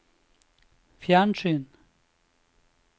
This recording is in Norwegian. fjernsyn